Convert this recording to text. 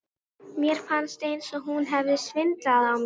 Mér fannst eins og hún hefði svindlað á mér.